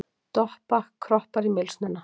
Doppa kroppar í mylsnuna.